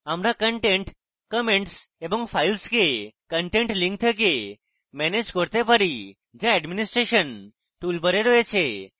আমরা content comments এবং files কে content link থেকে ম্যানেজ করতে পারি যা administration toolbar রয়েছে